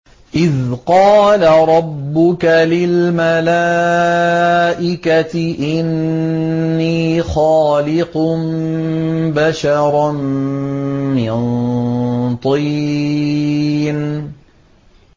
إِذْ قَالَ رَبُّكَ لِلْمَلَائِكَةِ إِنِّي خَالِقٌ بَشَرًا مِّن طِينٍ